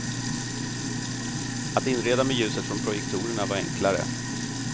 Att inreda med ljuset från projektorerna var enklare.